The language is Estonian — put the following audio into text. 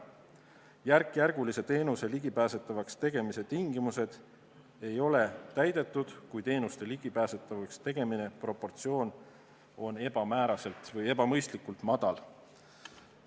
Teenuse järkjärguliselt ligipääsetavaks tegemise tingimused ei ole täidetud, kui teenuse ligipääsetavaks tegemise proportsioon on ebamõistlikult halb.